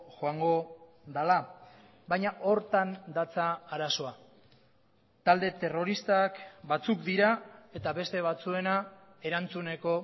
joango dela baina horretan datza arazoa talde terroristak batzuk dira eta beste batzuena erantzuneko